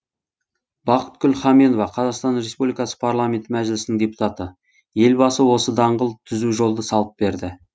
бақытгүл хаменова қазақстан республикасының парламенті мәжілісінің депутаты елбасы осы даңғыл түзу жолды салып берді